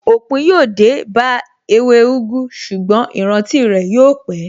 Òpin yóò dé bá ewé úgú, ṣùgbọ́n ìrántí rẹ̀ yóò pé.